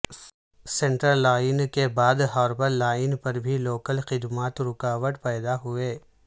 central line کے بعد harbour line پر بھی لوکل خدمات رکاوٹ پیدا ہوئیں